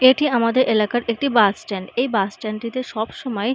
এটি আমাদের এলাকার একটি বাস স্ট্যান্ড এই বাস স্ট্যান্ড - টি তে সব সময়--